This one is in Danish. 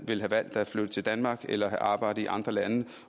vil have valgt at flytte til danmark eller have arbejdet i andre lande